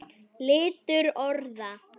Litur orða